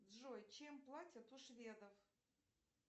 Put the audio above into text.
джой чем платят у шведов